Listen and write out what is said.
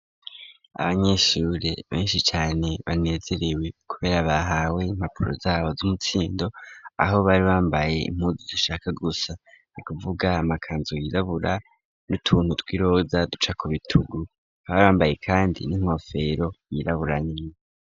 Abanyeshure beshi cane banezerewe kubera bahawe impapuro zabo z'umutsindo aho bari bambaye impudu zishaka gusa ni kuvuga amakanzu yirabura n'utuntu tw'iroza duca ku bitugu bari bambaye kandi n'inkofero yirabura nini.